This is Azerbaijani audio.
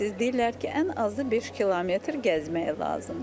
Deyirlər ki, ən azı 5 km gəzmək lazımdır.